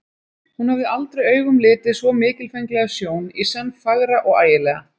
Hún hafði aldrei augum litið svo mikilfenglega sjón, í senn fagra og ægilega.